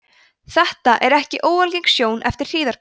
þetta er ekki óalgeng sjón eftir hríðarbyl